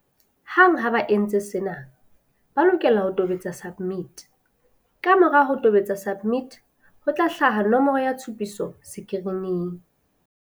Hang ha ba entse sena, ba lokela ho tobetsa SUBMIT. Kamora ho tobetsa SUBMIT, ho tla hlaha nomoro ya tshupiso sekirining.